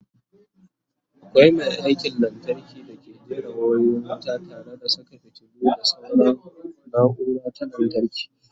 akwai Mai aikin lantarki dake jera wayoyin wuta tare da Saka fitilu da sauran naura ta lantarki